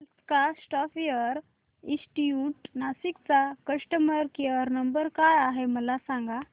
Alaska software institute Nashik चा customer care number काय आहे मला सांग